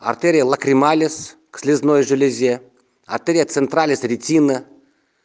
артерия лакрималис к слёзной железе артерия централис ретина